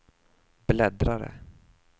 bläddrare